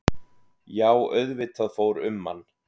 Já auðvitað fór um mann.